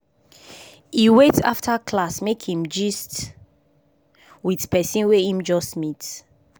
e wait after class make im gist with person wey im just meet